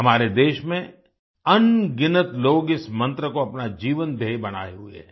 हमारे देश में अनगिनत लोग इस मंत्र को अपना जीवन ध्येय बनाये हुए हैं